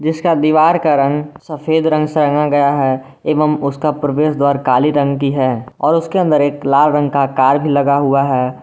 जिसका दीवार का रंग सफेद रंग से रंगा गया है एवं उसका प्रवेश द्वार काली रंग की है और उसके अंदर एक लाल रंग का कार भी लगा हुआ है।